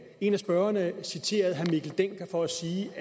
en af talerne citerede herre mikkel dencker for at sige